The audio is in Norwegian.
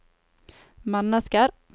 mennesker